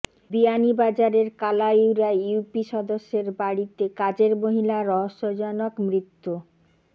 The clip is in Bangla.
বিয়ানীবাজারের কালাইউরায় ইউপি সদস্যের বাড়িতে কাজের মহিলার রহস্যজনক মৃত্যু